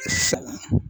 I fa ma